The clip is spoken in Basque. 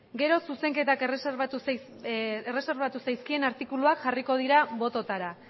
gero zuzenketak erreserbatu zaizkien artikuluak jarriko dira bototara